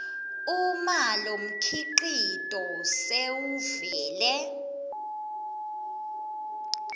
uma lomkhicito sewuvele